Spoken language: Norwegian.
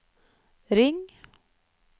ring